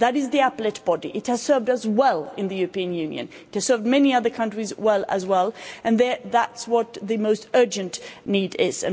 It is the appellate body, it has served us well in the European Union, it has served many other countries well as well, and that's what the most urgent need is.